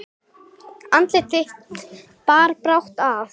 Andlát þitt bar brátt að.